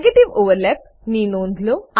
negative overlap ની નોધ લો